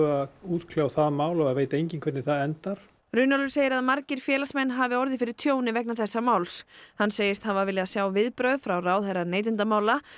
að útkljá það mál og það veit enginn hvernig það endar Runólfur segir að margir félagsmenn hafi orðið fyrir tjóni vegna þessa máls hann segist hafa viljað sjá viðbrögð frá ráðherra neytendamála